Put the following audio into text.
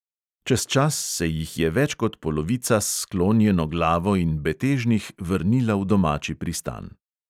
Čez čas se jih je več kot polovica s sklonjeno glavo in betežnih vrnila v domači pristan.